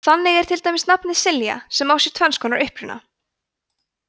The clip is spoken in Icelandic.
þannig er til dæmis um nafnið silja sem á sér tvenns konar uppruna